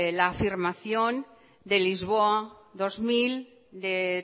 la afirmación de lisboa dos mil de